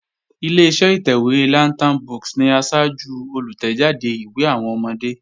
Ileṣẹ́ ìtẹ̀wé Lantern books ni asájú olùtẹ̀jáde ìwé àwọn ọmọdé